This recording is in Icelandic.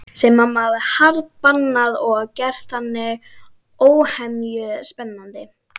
Sem mamma hafði harðbannað og gert þannig óhemju spennandi.